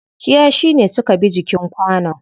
Kiyashi ne suka bi jikin kwanon.